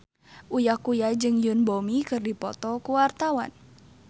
Uya Kuya jeung Yoon Bomi keur dipoto ku wartawan